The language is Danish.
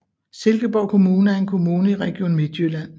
Silkeborg Kommune er en kommune i Region Midtjylland